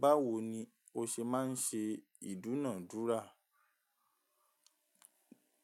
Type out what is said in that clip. Báwo ni o ṣe máa ń ṣe ìdúnàádúrà?